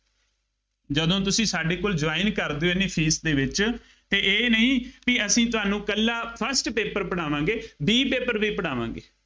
ਜਦੋਂ ਤੁਸੀਂ ਸਾਡੇ ਕੋਲ join ਕਰਦੇ ਹੋ, ਐਨੀ fees ਦੇ ਵਿੱਚ, ਫੇਰ ਇਹ ਨਹੀਂ ਬਈ ਅਸੀਂ ਤੁਹਾਨੂੰ ਇਕੱਲਾ first paper ਪੜਾਵਾਂਗੇ B paper ਵੀ ਪੜਾਵਾਂਗੇ।